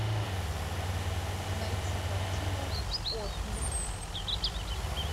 найти картину отмель